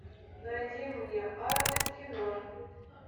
найди мне арлес кино